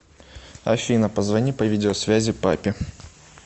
афина позвони по видео связи папе